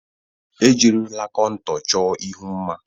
Ejirila kontọr chọọ ihu mma.